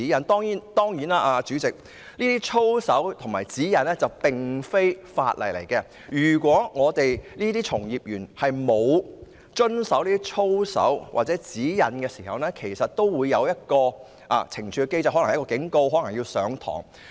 代理主席，操守守則和指引並非法例，如果從業員沒有遵守有關操守守則或指引，也會受到懲處機制的懲罰，包括受到警告或接受培訓。